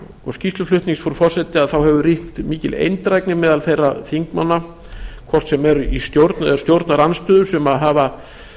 og skýrsluflutnings frú forseti hefur ríkt mikil eindrægni meðal þeirra þingmanna hvort sem er í stjórn eða stjórnarandstöðu sem hafa